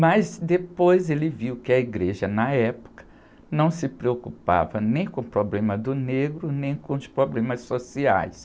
Mas depois ele viu que a igreja, na época, não se preocupava nem com o problema do negro, nem com os problemas sociais.